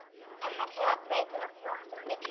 En þarf það að breyta nokkru okkar á milli?